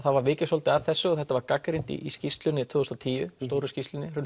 var vikið svolítið að þessu og þetta var gagnrýnt í skýrslunni tvö þúsund og tíu stóru skýrslunni